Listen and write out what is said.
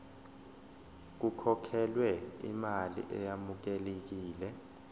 kukhokhelwe imali eyamukelekile